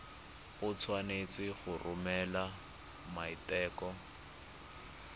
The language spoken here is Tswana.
o tshwanetse go romela maiteko